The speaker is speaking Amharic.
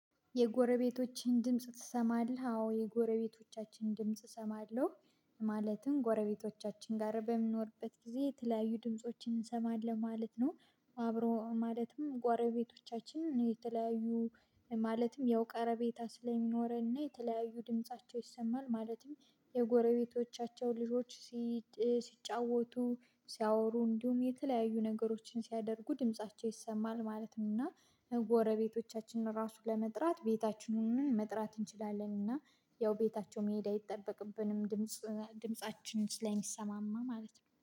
የጎረቤቶችን ድምጽ ትሰማለህ? አዎ የጎረቤቶቻችን ድምጽ እሰማለሁ ማለትም ጎረቤቶቻችን ጋር በምንኖርበት ጊዜ የተለያዩ ድምፆችን እንሰማለን ማለት ነው። አብሮ ማለትም ጓረቤቶቻችን የተለያዩ ማለትም ያው ቀረቤታ ስለሚኖረን እና የተለያዩ ድምፃቸው ይሰማል ማለትም የጎረቤቶቻቸው ልጆች ሲጫወቱ ሲያወሩ እንዲሁም የተለያዩ ነገሮችን ሲያደርጉ ድምፃቸው ይሰማል ማለት ነው። እና ጎረቤቶቻችንን ራሱ ለመጥራት ቤታችን ሆነን መጥራት እንችላለን እና ያው ቤታቸው መሄድ አይጠበቅብንም ድምጽ ድምፃችን ስለሚሰማማ ማለት ነው